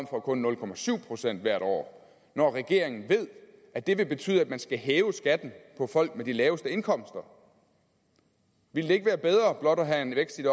på kun nul procent hvert år når regeringen ved at det vil betyde at man skal hæve skatten for folk med de laveste indkomster ville det ikke være bedre blot at have en vækst i